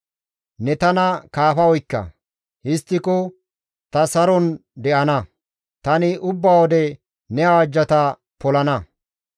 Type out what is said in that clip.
Ne tana kaafa oykka; histtiko ta saron de7ana; tani ubba wode ne awajjata polana.